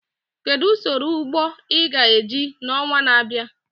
Kedu usoro ugbo ị ga-eji n'ọnwa na-abịa?